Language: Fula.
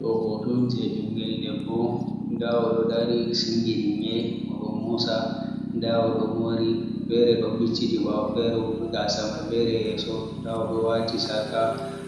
Ɗo hoto on je ɓingel debbo. Nda o do dari singini nyi'i, O do musa. Nda o do mori, fere do bicciti bawo, fere gasa man fere yeso. Nda o do wati sarka,